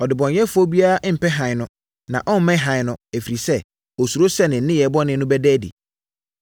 Ɔdebɔneyɛfoɔ biara mpɛ Hann no, na ɔremmɛn Hann no, ɛfiri sɛ, ɔsuro sɛ ne nneyɛeɛ bɔne no bɛda adi.